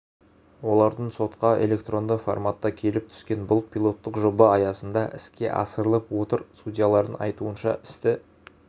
олардың сотқа электронды форматта келіп түскен бұл пилоттық жоба аясында іске асырылып отыр судьялардың айтуынша істі